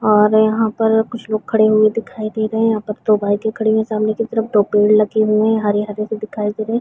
और यहाँ पर कुछ लोग खड़े हुए दिखाई दे रहें हैं यहाँ पर पत्थर डाल के खड़े है सामने की तरफ दो पेड़ लगे हैं हरे हरे से दिखाई दे रहें--